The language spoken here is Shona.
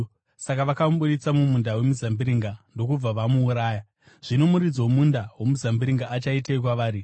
Saka vakamubudisa mumunda wemizambiringa ndokubva vamuuraya. “Zvino muridzi womunda womuzambiringa achaitei kwavari?